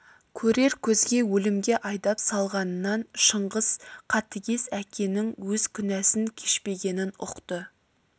көрер көзге өлімге айдап салғанынан шыңғыс қатігез әкенің өз күнәсін кешпегенін ұқты